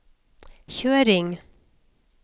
kjøring